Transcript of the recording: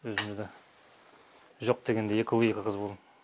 өзімізде жоқ дегенде екі ұл екі қыз болған